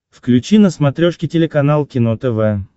включи на смотрешке телеканал кино тв